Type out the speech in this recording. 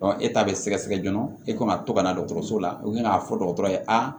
e ta bɛ sɛgɛsɛgɛ joona e kan ka to ka na dɔgɔtɔrɔso la k'a fɔ dɔgɔtɔrɔ ye aa